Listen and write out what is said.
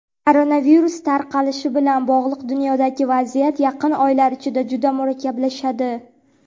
Koronavirus tarqalishi bilan bog‘liq dunyodagi vaziyat yaqin oylar ichida juda murakkablashadi.